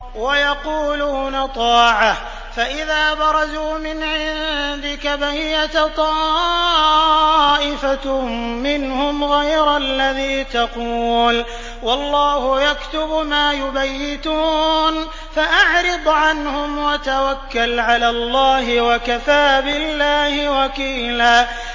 وَيَقُولُونَ طَاعَةٌ فَإِذَا بَرَزُوا مِنْ عِندِكَ بَيَّتَ طَائِفَةٌ مِّنْهُمْ غَيْرَ الَّذِي تَقُولُ ۖ وَاللَّهُ يَكْتُبُ مَا يُبَيِّتُونَ ۖ فَأَعْرِضْ عَنْهُمْ وَتَوَكَّلْ عَلَى اللَّهِ ۚ وَكَفَىٰ بِاللَّهِ وَكِيلًا